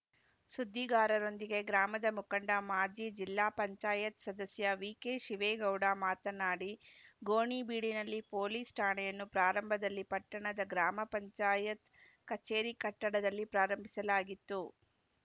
ಸುದ್ದಿಗಾರರೊಂದಿಗೆ ಗ್ರಾಮದ ಮುಖಂಡ ಮಾಜಿ ಜಿಲ್ಲಾ ಪಂಚಾಯತ್ ಸದಸ್ಯ ವಿಕೆ ಶಿವೇಗೌಡ ಮಾತನಾಡಿ ಗೋಣಿಬೀಡಿನಲ್ಲಿ ಪೊಲೀಸ್‌ ಠಾಣೆಯನ್ನು ಪ್ರಾರಂಭದಲ್ಲಿ ಪಟ್ಟಣದ ಗ್ರಾಮ ಪಂಚಾಯತ್ ಕಚೇರಿ ಕಟ್ಟಡದಲ್ಲಿ ಪ್ರಾರಂಭಿಸಲಾಗಿತ್ತು